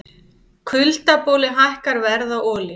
Kuldaboli hækkar verð á olíu